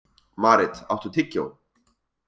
Marit, áttu tyggjó?